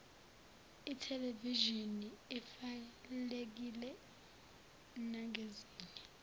ithelevishini evalekile nangezinye